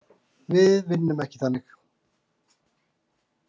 Við vinnum ekki þannig.